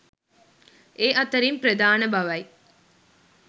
ඒ අතරින් ප්‍රධාන බවයි